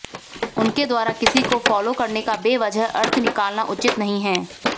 उनके द्वारा किसी को फॉलो करने का बेवजह अर्थ निकालना उचित नहीं है